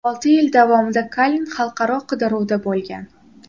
Olti yil davomida Kalin xalqaro qidiruvda bo‘lgan.